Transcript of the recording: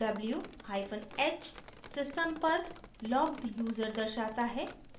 w hyphen h system पर logged user दर्शाता है